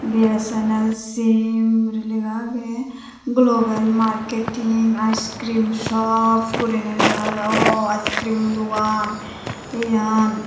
BSNL simple guro lega agey global marketing icecream shop guriney lega agey ow icecreamo dogan iyan.